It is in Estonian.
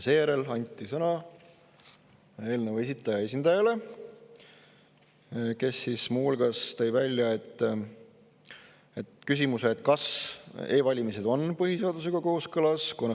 Seejärel anti sõna eelnõu esitaja esindajale, kes muu hulgas tõi välja küsimuse, kas e-valimised on põhiseadusega kooskõlas.